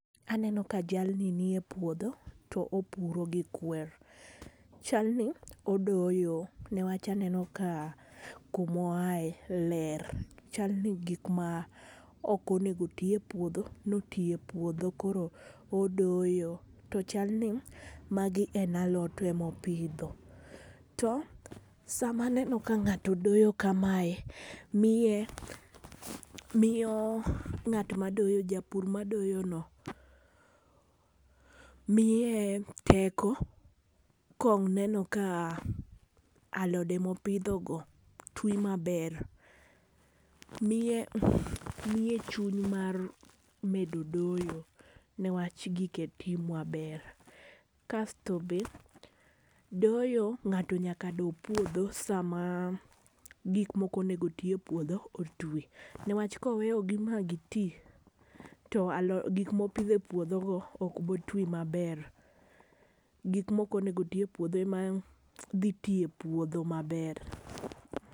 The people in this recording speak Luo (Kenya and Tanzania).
Aneno ka jalni ni e puodho to opuro gi kwer, chal ni odoyo ne wacha aneno ka kuma oae ler chalni ni gik ma ok onego otwi e puodho ne otwi e puodho koro odoyo to chalni ni magi en alot ema opidho. To sa ma aneno ka ng'ato doyo ka mae miye miyo ng'at ma doyo japur ma doyo no miye teko ka oneno ka alode ma puodho go dhi ma ber miye chuny mar medo doyo ne wach gike twi ma ber. Kasto be doyo ng'ato nyaka doo puodho saa ma gik ma ok onego otwi e puodho otwi ne wach ka oweyo gi ma gi twi to aloit gik ma opidho e puodho go ok bi twi ma ber gik ma ok onego otwi e puodho ema dhi twi e puodho ma ber.